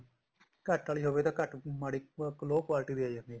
ਘੱਟ ਆਲੀ ਹੋਵੇ ਤਾਂ ਘੱਟ ਮਾੜੀ low quality ਦੀ ਆ ਜਾਂਦੀ ਹੈ